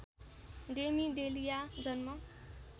Demi Delia जन्म